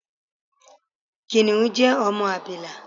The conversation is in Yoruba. Kìnìún jẹ ọmọ abila.